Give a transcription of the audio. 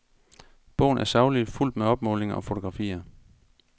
Bogen er saglig, fuldt med opmålinger og fotografier.